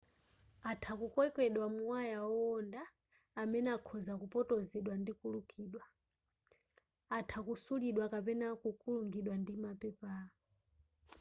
atha kukokedwa mu waya owonda amene akhoza kupotozedwa ndi kulukidwa atha kusulidwa kapenanso kukulungidwa ndi mapepala